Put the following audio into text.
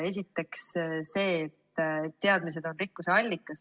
Esiteks see, et teadmised on rikkuse allikas.